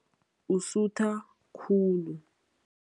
Usutha khulu.